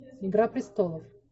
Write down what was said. игра престолов